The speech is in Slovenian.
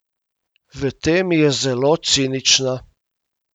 V tem je zelo cinična.